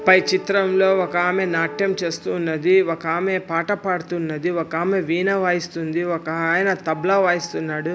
పై చిత్రంలో ఒక ఆమె నాట్యం చేస్తూ ఉన్నది. ఒక ఆమె పాట పాడుతున్నది ఒక ఆమె వీణ వాయిస్తుంది ఒకాయన తబలా వాయిస్తున్నాడు.